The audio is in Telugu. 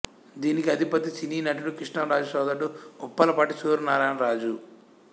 దీనికి అధిపతి సినీ నటుడి కృష్ణంరాజు సోదరుడు ఉప్పలపాటి సూర్యనారాయణ రాజు